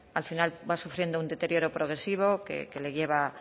al final va sufriendo un deterioro progresivo que le lleva